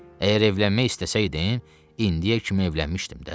Əgər evlənmək istəsəydim, indiyə kimi evlənmişdim də.